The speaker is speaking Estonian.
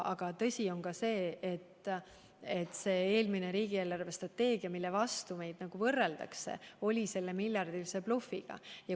Aga tõsi on ka see, et eelmises riigi eelarvestrateegias, millega meie oma võrreldakse, oli sees miljardiline bluff.